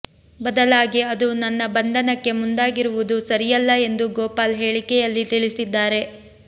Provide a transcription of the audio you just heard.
ಬದಲಾಗಿ ಅದು ನನ್ನ ಬಂಧನಕ್ಕೆ ಮುಂದಾಗಿರುವುದು ಸರಿಯಲ್ಲ ಎಂದೂ ಗೋಪಾಲ್ ಹೇಳಿಕೆಯಲ್ಲಿ ತಿಳಿಸಿದ್ದಾರೆ